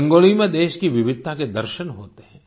रंगोली में देश की विविधता के दर्शन होते हैं